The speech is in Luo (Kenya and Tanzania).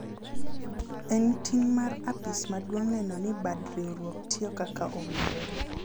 en ting' mar apis maduong' neno ni bad riwruok tiyo kaka owinjore